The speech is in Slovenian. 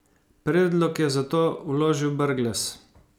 Predlog je zato vložil Brglez.